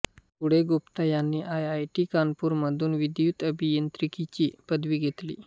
पुढे गुप्ता यांनी I I T Kanpur मधून विद्युत अभियांत्रिकीची पदवी घेतली